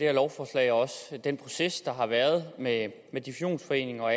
her lovforslag og den proces der har været med med divisionsforeningen og